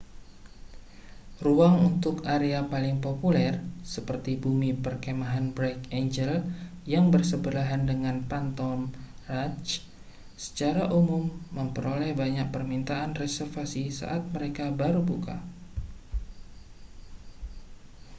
ruang untuk area paling populer seperti bumi perkemahan bright angel yang bersebelahan dengan phantom ranch secara umum memperoleh banyak permintaan reservasi saat mereka baru buka